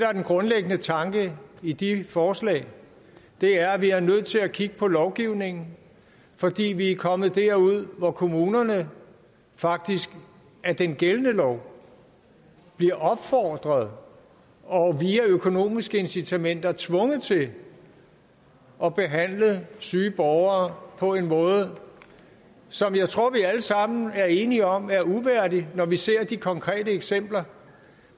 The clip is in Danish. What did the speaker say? er den grundlæggende tanke i de forslag er at vi er nødt til at kigge på lovgivningen fordi vi er kommet derud hvor kommunerne faktisk af den gældende lov bliver opfordret og via økonomiske incitamenter tvunget til at behandle syge borgere på en måde som jeg tror vi alle sammen er enige om er uværdig når vi ser de konkrete eksempler